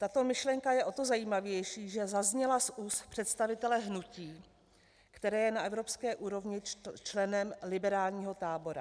Tato myšlenka je o to zajímavější, že zazněla z úst představitele hnutí, které je na evropské úrovni členem liberálního tábora.